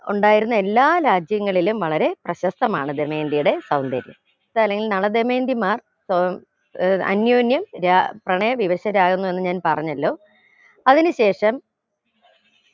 ഉണ്ടായിരുന്ന എല്ലാ രാജ്യങ്ങളിലും വളരെ പ്രശസ്തമാണ് ദമയന്തിയുടെ സൗന്ദര്യം നള ദമയന്തിമാർ ക്ക് ഏർ അന്യോന്യം ര പ്രണയ വിവശരാവുന്നു എന്ന് ഞാൻ പറഞ്ഞല്ലോ അതിന് ശേഷം